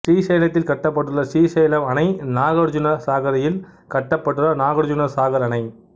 ஸ்ரீசைலத்தில் கட்டப்பட்டுள்ள ஸ்ரீசைலம் அணை நாகார்ஜுன சாகரில் கட்டப்பட்டுள்ள நாகார்ஜுன சாகர் அணை